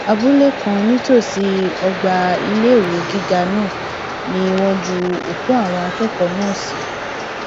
abúlé kan nítòsí ọgbà iléèwé gíga náà ni wọn ju òkú àwọn akẹkọọ náà sí